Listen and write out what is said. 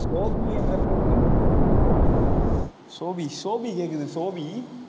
Sophie என்ற பெண்ணின் Sophie Sophie கேக்குது, சோஃபி